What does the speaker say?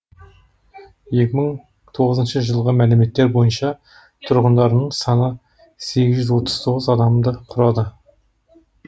екі мың тоғызыншы жылғы мәліметтер бойынша тұрғындарының саны сегіз жүз отыз тоғыз адамды құрады